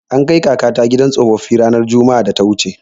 An kai kakata gidan tsofaffi ranar Juma'ar da ta wuce.